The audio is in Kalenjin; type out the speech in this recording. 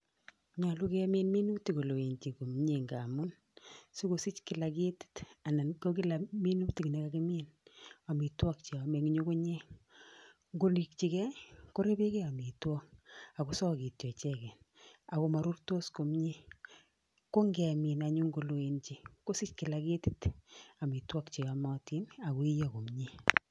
Nyolu kemin minutik koloenjin komnyee ngamun, sikosich kila ketit anan ko kila minutik ne kakimin amitwokik che yome eng ngungunyek ngorijike korebeke amitwokik akosokityo icheke, Ako marurtos komnyee, ko ngemin anyun koloenjin kosiche kila ketit amitwokik che yomotin Ako iyo komnyee.